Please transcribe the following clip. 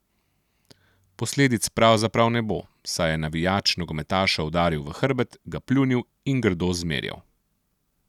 Posledic pravzaprav ne bo, saj je navijač nogometaša udaril v hrbet, ga pljunil in grdo zmerjal.